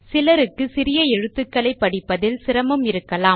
சிலருக்கு சிறிய எழுத்துக்களைப் படிப்பதில் சிரமம் இருக்கும்